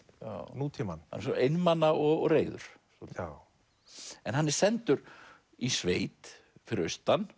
nútímann já einmana og reiður já en hann er sendur í sveit fyrir austan